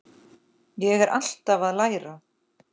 Ég er alltaf að læra.